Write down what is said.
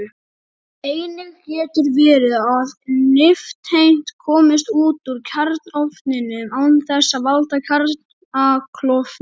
Einnig getur verið að nifteind komist út úr kjarnaofninum án þess að valda kjarnaklofnun.